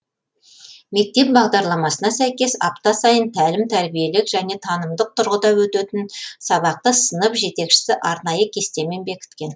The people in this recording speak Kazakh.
мектеп бағдарламасына сәйкес апта сайын тәлім тәрбиелік және танымдық тұрғыда өтетін сабақты сынып жетекшісі арнайы кестемен бекіткен